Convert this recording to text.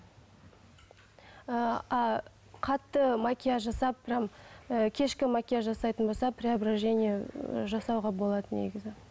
ы а қатты макияж жасап прямо ы кешкі макияж жасайтын болса преображение ы жасауға болады негізі